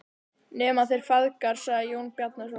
Nema þeir feðgar, sagði Jón Bjarnason.